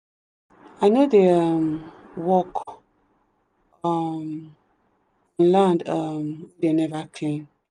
i no dey um work on land um wey them never clean.